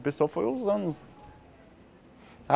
O pessoal foi usando.